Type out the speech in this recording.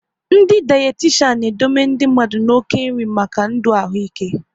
Ndị dayatishan n'edobe ndị mmadụ na oke nri maka ndụ ahụ ikw